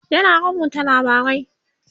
yana rubuta labarai